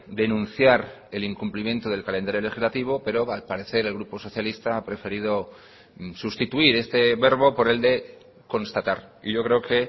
denunciar el incumplimiento del calendario legislativo pero al parecer el grupo socialista ha preferido sustituir este verbo por el de constatar y yo creo que